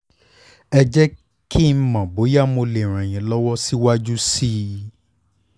ẹ jẹ́ kí n mọ̀ bóyá mo lè ràn yín lọ́wọ́ síwájú sí i